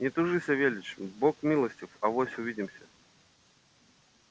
не тужи савельич бог милостив авось увидимся